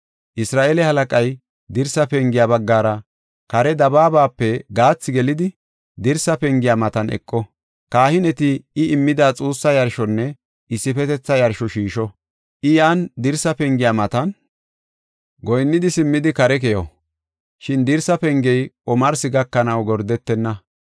Isra7eele halaqay dirsa pengiya baggara kare dabaabape gaathi gelidi, dirsa pengiya matan eqo. Kahineti I immida xuussa yarshonne issifetetha yarsho shiisho. I yan dirsa pengiya matan goyinnidi simmidi kare keyo. Shin dirsa pengey omarsi gakanaw gordetenna.